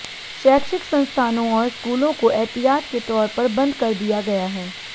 शैक्षिक संस्थानों और स्कूलों को एहतियात के तौर पर बंद कर दिया गया है